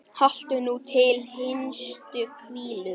Haltu nú til hinstu hvílu.